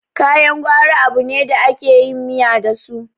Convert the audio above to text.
kayan gwari abune da ake yin miya dasu